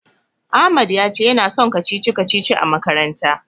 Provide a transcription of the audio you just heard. Ahmad ya ce yana son kacici-kacicici a makaranta.